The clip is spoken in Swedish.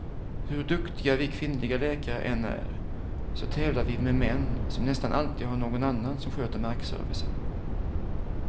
Hur duktiga vi kvinnliga läkare än är, så tävlar vi med män som nästan alltid har någon annan som sköter markservicen.